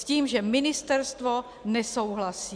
S tím, že ministerstvo nesouhlasí.